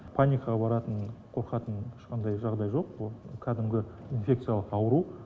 паникаға баратын қорқатын ешқандай жағдай жоқ ол кәдімгі инфекциялық ауру